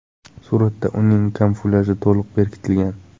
Suratda uning kamuflyaji to‘liq bekitilgan.